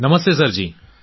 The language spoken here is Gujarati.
નમસ્તે સર જી